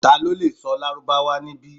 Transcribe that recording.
Talo le sọ lárúbáwá nibi?